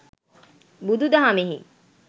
බුදුදහමෙහි